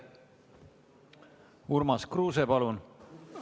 Urmas Kruuse, palun!